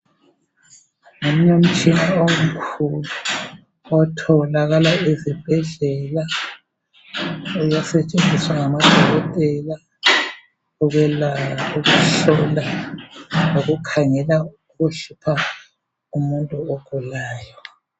Ngomunye umtshina omkhulu othalakala ezibhedlela usetshenziwa ngama dokotela ukuhlola loku khangela umzimba womuntu ogulayo.